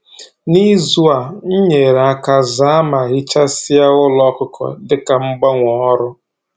N'izu a, m nyere aka zaa ma hichasịa ụlọ ọkụkọ dịka mgbanwe ọrụ m